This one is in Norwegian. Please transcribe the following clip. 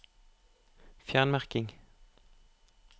Fjern merking